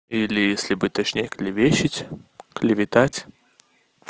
или если быть точнее клевещет клеветать